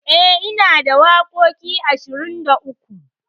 E, inada waƙoƙi ashirin da uku.